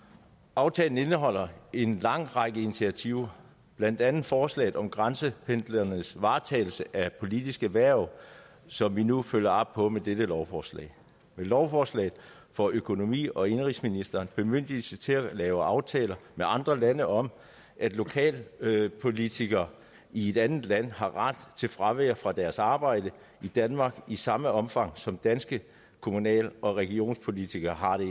aftalen indeholder en lang række initiativer blandt andet forslaget om grænsependleres varetagelse af politiske hverv som vi nu følger op på med dette lovforslag med lovforslaget får økonomi og indenrigsministeren bemyndigelse til at lave aftaler med andre lande om at lokalpolitikere i et andet land har ret til fravær fra deres arbejde i danmark i samme omfang som danske kommunal og regionspolitikere har det